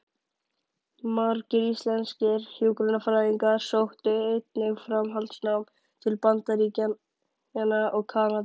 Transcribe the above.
Margir íslenskir hjúkrunarfræðingar sóttu einnig framhaldsnám til Bandaríkjanna og Kanada.